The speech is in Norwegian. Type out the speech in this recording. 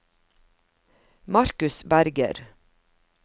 Marcus Berger